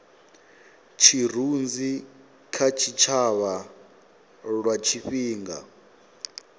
tshirunzi kha tshitshavha lwa tshifhinga